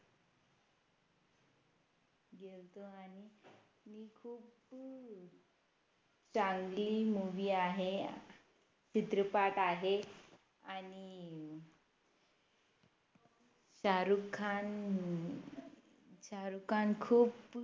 चांगली Movie आहे चित्रपट आहे आणि शाहरुख खान शाहरुख खान खूप